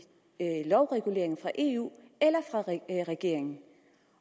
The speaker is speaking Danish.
lovregulering fra eu eller fra regeringen